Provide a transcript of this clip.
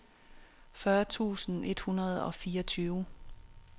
fyrre tusind et hundrede og fireogtyve